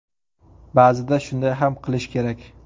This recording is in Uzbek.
Ba’zida shunday ham qilish kerak.